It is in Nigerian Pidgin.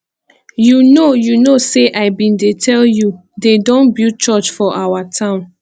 you know you know say i bin dey tell you dey don build church for our town